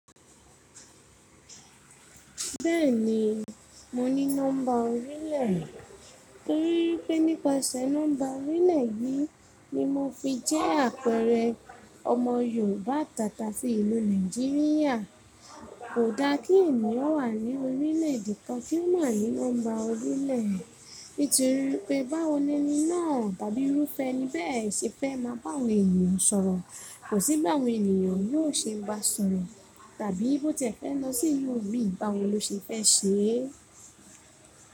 Bẹ́ẹ̀ni, mo ní nọ́mbà orílẹ̀, torí pé nípasẹ̀ nọ́mbà orílẹ̀ yìí ni mo fi jẹ́ àpẹẹrẹ ọmọ Yorùbá tàtàsí ìlú Nàìjíríà. Kò da kí ènìyàn wà ní orílẹ̀ èdè kan kí ó mọ̀ ní nọ́mbà orílẹ̀, nítorí pé báwo ni eni tàbí irúfẹ́ ni bẹ́ẹ̀ ṣe fẹ́ máa bá àwọn ènìyàn sọ̀rọ̀, kò sí báwo ènìyàn yóò ṣe ń bá sọ̀rọ̀ tàbí bó tì ẹ fẹ́ lọ sí ilu mi, báwo ló ṣe fẹ́ ṣe?